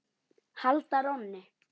halda rónni.